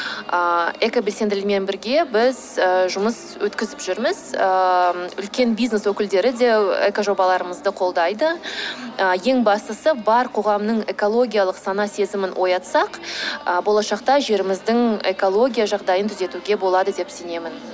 ыыы экобелсенділермен бірге біз жұмыс өткізіп жүрміз ыыы үлкен бизнес өкілдері де экожобаларымызды қолдайды ы ең бастысы бар қоғамның экологиялық сана сезімін оятсақ ы болашақта жеріміздің экология жағдайын түзетуге болады деп сенемін